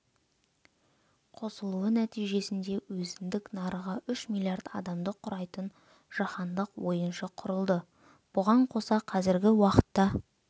қосылуы нәтижесінде өзіндік нарығы үш миллиард адамды құрайтын жаһандық ойыншы құрылды бұған қоса қазіргі уақытта